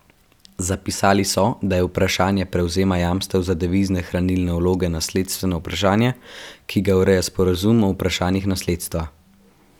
Zapisali so, da je vprašanje prevzema jamstev za devizne hranilne vloge nasledstveno vprašanje, ki ga ureja sporazum o vprašanjih nasledstva.